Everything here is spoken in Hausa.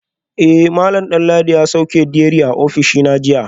Eh malam Danladi ya sauke diary a ofishina jiya